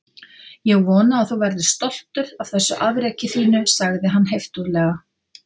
Ég vona að þú verðir stoltur af þessu afreki þínu- sagði hann heiftúðlega.